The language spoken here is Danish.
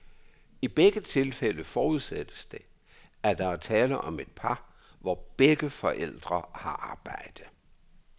I begge tilfælde forudsættes det, at der er tale om et par, hvor begge forældre har arbejde.